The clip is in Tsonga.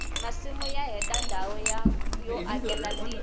masimu ya heta ndhawu yo akela tindlu